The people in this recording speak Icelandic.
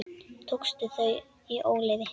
Tókstu þau í óleyfi?